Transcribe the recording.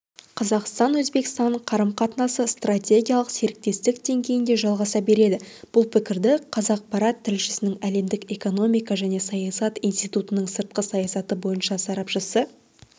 қазақстан-өзбекстан қарым-қатынасы стратегиялық серіктестік деңгейінде жалғаса береді бұл пікірді қазақпарат тілшісіне әлемдік экономика және саясат институтының сыртқы саясат бойынша сарапшысы